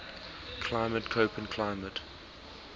climate koppen climate